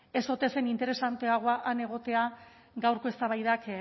ez ote zen interesanteagoa han egotea gaurko eztabaidak